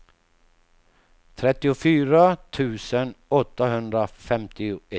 trettiofyra tusen åttahundrafemtioett